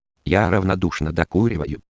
я равнодушна докурю